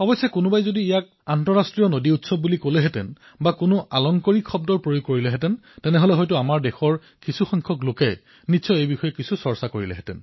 হয় যদিহে ইয়াক কোনোবাই আন্তঃৰাষ্ট্ৰীয় নদী মহোৎসৱ বুলি অভিহিত কৰিলেহেঁতেন কিছু সুন্দৰ শব্দ প্ৰয়োগ কৰিলেহেঁতেন তেন্তে বোধহয় আমাৰ দেশৰ কিছু লোকে ইয়াৰ বিষয়ে চৰ্চা কৰিলেহেঁতেন